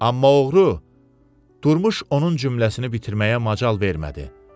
Amma oğru durmuş onun cümləsini bitirməyə macal vermədi.